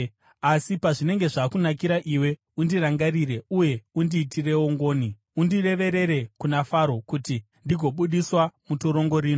Asi pazvinenge zvakunakira iwe, undirangarire uye undiitirewo ngoni; undireverere kuna Faro kuti ndigobudiswa mutorongo rino.